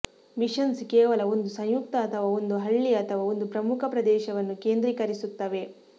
missions ಕೇವಲ ಒಂದು ಸಂಯುಕ್ತ ಅಥವಾ ಒಂದು ಹಳ್ಳಿ ಅಥವಾ ಒಂದು ಪ್ರಮುಖ ಪ್ರದೇಶವನ್ನು ಕೇಂದ್ರೀಕರಿಸುತ್ತವೆ